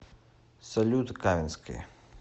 салют кавински